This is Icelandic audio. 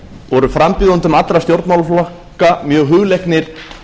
voru frambjóðendum allra stjórnmálaflokka mjög hugleiknir